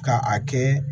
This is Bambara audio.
Ka a kɛ